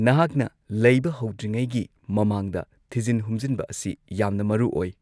ꯅꯍꯥꯛꯅ ꯂꯩꯕ ꯍꯧꯗ꯭ꯔꯤꯉꯩꯒꯤ ꯃꯃꯥꯡꯗ ꯊꯤꯖꯤꯟ ꯍꯨꯝꯖꯤꯟꯕ ꯑꯁꯤ ꯌꯥꯝꯅ ꯃꯔꯨ ꯑꯣꯏ꯫